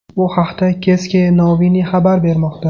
Bu haqda Ceske Noviny xabar bermoqda .